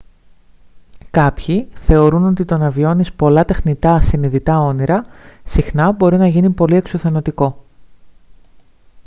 κάποιοι θεωρούν ότι το να βιώνεις πολλά τεχνητά συνειδητά όνειρα συχνά μπορεί να γίνει πολύ εξουθενωτικό